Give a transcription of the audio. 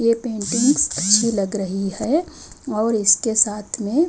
ये पेंटिंग्स अच्छी लग रही है और इसके साथ में--